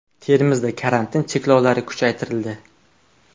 Termizda karantin cheklovlari kuchaytirildi.